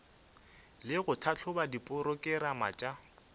le go tlhahloba diporokerama tša